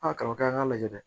A kalan kɛ an k'a lajɛ